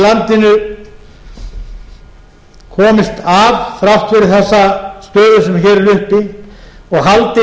landinu komist af þrátt fyrir þessa stöðu sem hér er uppi og haldi